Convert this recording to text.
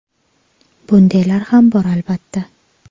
Bundaylar ham bor, albatta.